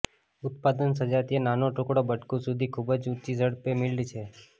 ઉત્પાદન સજાતીય નાનો ટુકડો બટકું સુધી ખૂબ જ ઊંચી ઝડપે મિલ્ડ છે